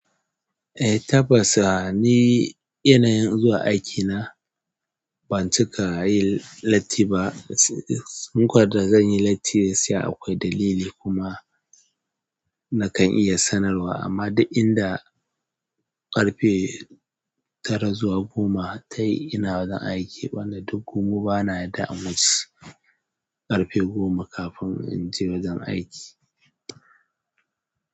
Eh, tabbas ni yanayin zuwa wuraren aiki na ban cika yin latti ba. Sankwar da zan yi latti sai akwai dalili kuma na kan iya sanarwa. Amma duk inda ƙarfe tara zuwa goma tayi ina wajen aiki bana, duk mu bana da yadda in wuce ƙarfe goma kafin in je wajen aiki.